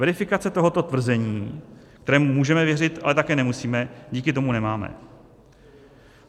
Verifikace tohoto tvrzení, kterému můžeme věřit, ale také nemusíme, díky tomu nemám.